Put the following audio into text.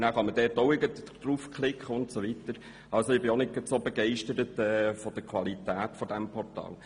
Ich bin auch nicht so begeistert von der Qualität des Portals.